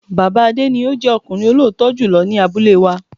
Bàbá Adé ni o jẹ́ ọkùnrin olótítọ́ jùlọ ni abúlé wa